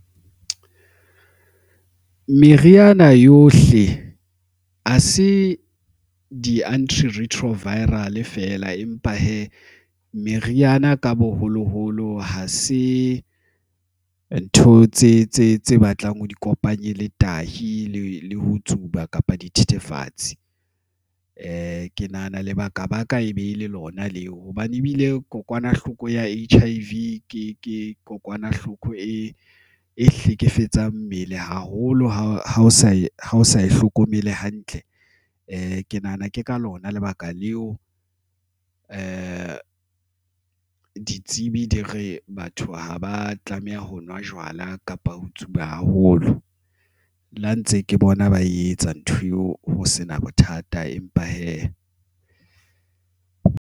Meriana yohle ha se di-anti retroviral fela, empa hee meriana ka boholoholo ha se ntho tse batlang ho di kopanye le tahi le ho tsuba kapa di thethefatse. ke nahana lebaka baka e be ele lona leo hobane ebile kokwanahloko ya H_I_V ke ke kokwanahloko hlekefetsang mmele haholo ha o sa ihlokomele hantle ke nahana ke ka lona lebaka leo ditsebi di e letsa batho ha ba tlameha ho nwa jwala kapa ho tsuba haholo le ha ntse ke bona ba e etsa ntho eo ho sena bothata, empa hee.